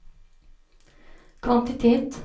kvantitet